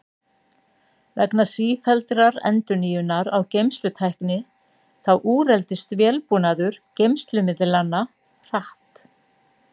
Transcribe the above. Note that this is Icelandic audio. Vegna sífelldrar endurnýjunar á geymslutækni þá úreldist vélbúnaður geymslumiðlanna hratt.